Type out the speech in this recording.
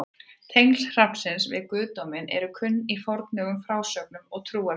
Tengsl hrafnsins við guðdóminn eru kunn í fornum frásögnum og trúarbrögðum.